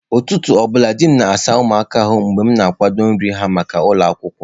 Ụtụtụ ọbụla, di m na-asa ụmụaka ahụ mgbe m na-akwadebe nri ha maka ụlọ akwụkwọ.